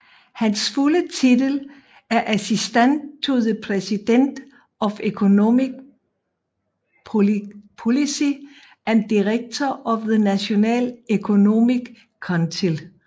Hans fulde titel er Assistant to the President for Economic Policy and Director of the National Economic Council